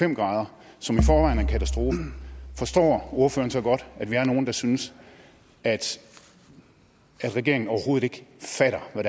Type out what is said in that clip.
en grader som i forvejen er en katastrofe forstår ordføreren så godt at vi er nogle der synes at regeringen overhovedet ikke fatter hvad